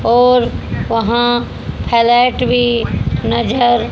और वहां हाइलाइट भी नजर--